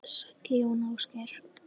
Sæll Jón Ásgeir!